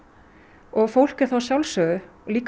og fólk er þá